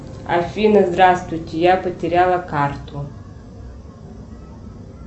афина здравствуйте я потеряла карту